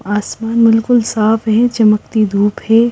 आसमान बिल्कुल साफ है चमकती धूप है।